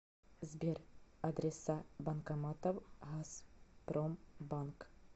сбер адреса банкоматов газпромбанк